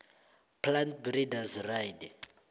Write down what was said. plant breeders right